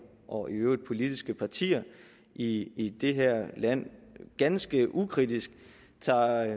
og i øvrigt politiske partier i det her land ganske ukritisk tager